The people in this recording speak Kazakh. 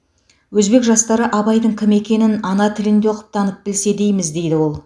өзбек жастары абайдың кім екенін ана тілінде оқып танып білсе дейміз дейді ол